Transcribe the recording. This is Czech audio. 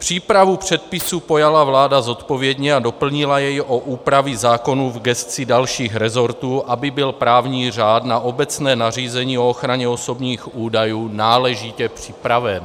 Přípravu předpisu pojala vláda zodpovědně a doplnila jej o úpravy zákonů v gesci dalších rezortů, aby byl právní řád na obecné nařízení o ochraně osobních údajů náležitě připraven.